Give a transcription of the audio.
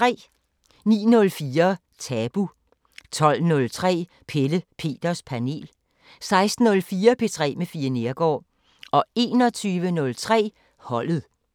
09:04: Tabu 12:03: Pelle Peters Panel 16:04: P3 med Fie Neergaard 21:03: Holdet